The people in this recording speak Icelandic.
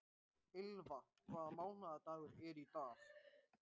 Ylva, hvaða mánaðardagur er í dag?